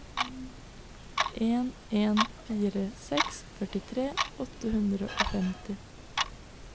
en en fire seks førtitre åtte hundre og femtini